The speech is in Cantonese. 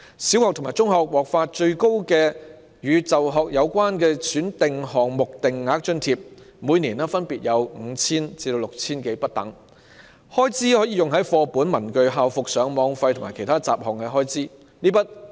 小學生及中學生獲發的"與就學有關的選定項目定額津貼"，最高金額每年分別為 5,000 元至 6,000 多元不等，開支可用於課本、文具、校服、上網費及其他雜項開支。